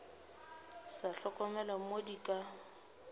sa hlokomele mo di ka